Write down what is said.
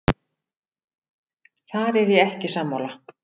Þar er ég ekki sammála.